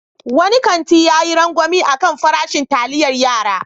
Wani kanti ya yi rangwame a kan farashin taliayar yara.